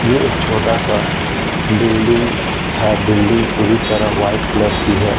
ये एक छोटा सा बिल्डिंग है बिल्डिंग पूरी तरह व्हाइट कलर की है।